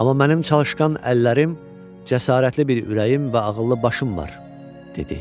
Amma mənim çalışqan əllərim, cəsarətli bir ürəyim və ağıllı başım var, dedi.